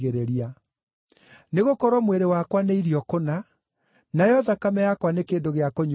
Nĩgũkorwo mwĩrĩ wakwa nĩ irio kũna, nayo thakame yakwa nĩ kĩndũ gĩa kũnyua kũna.